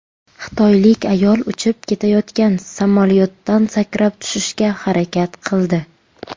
Xitoylik ayol uchib ketayotgan samolyotdan sakrab tushishga harakat qildi.